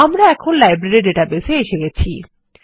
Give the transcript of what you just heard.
আমরা এখন library database এ এসে গেছি